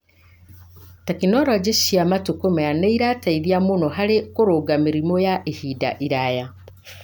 Tekinolonjĩ cia matukũ maya nĩ irateithia mũno harĩ kũrũnga mĩrimũ ya ihinda iraya.